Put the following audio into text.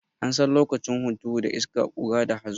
An san lokacin hunturu da iska, ƙura da hazo.